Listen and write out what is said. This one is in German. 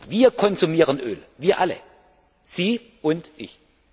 Wir konsumieren Öl, wir alle, Sie und ich.